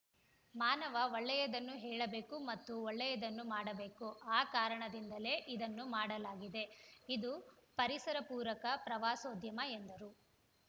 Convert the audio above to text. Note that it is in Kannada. ಮಾನವ ಒಳ್ಳೆಯದನ್ನು ಹೇಳಬೇಕು ಮತ್ತು ಒಳ್ಳೆಯದನ್ನು ಮಾಡಬೇಕು ಆ ಕಾರಣದಿಂದಲೇ ಇದನ್ನು ಮಾಡಲಾಗಿದೆ ಇದು ಪರಿಸರಪೂರಕ ಪ್ರವಾಸೋದ್ಯಮ ಎಂದರು